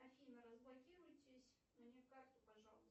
афина разблокируйтесь мне карту пожалуйста